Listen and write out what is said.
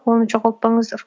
оны жоғалтпаңыздар